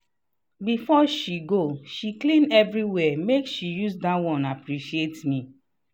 before she go she clean everywhere make she use that one appreciate me.